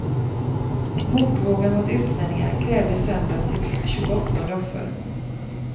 Mordvågen mot utlänningar krävde i söndags sitt tjugoåttonde offer.